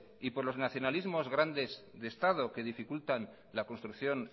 y por los nacionalismos grandes de estado que dificultan la construcción